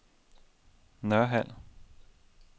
Nørhald